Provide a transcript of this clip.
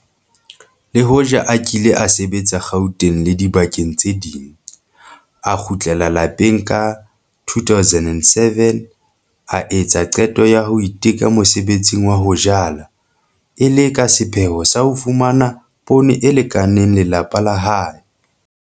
Le hoja a kile a sebetsa Gauteng le dibakeng tse ding, a kgutlela lapeng ka 2007, a etsa qeto ya ho iteka mosebetsing wa ho jala, e le ka sepheo sa ho fumana poone e lekaneng ya lelapa la hae.